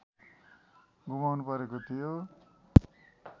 गुमाउनु परेको थियो